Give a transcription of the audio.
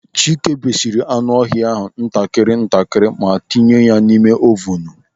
Chike berisiri anụ ọhịa ntakịrị ntakịrị ma tinye ha n'ime ovunu.